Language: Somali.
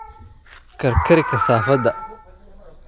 Karkari kasaafada.